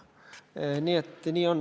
Nii on.